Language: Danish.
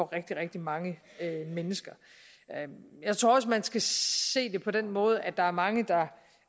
rigtig rigtig mange mennesker jeg tror også man skal se det på den måde at der er mange der